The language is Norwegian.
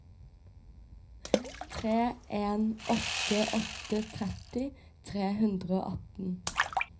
tre en åtte åtte tretti tre hundre og atten